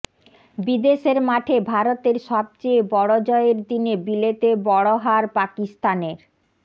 বিদেশের মাঠে ভারতের সবচেয়ে বড় জয়ের দিনে বিলেতে বড় হার পাকিস্তানের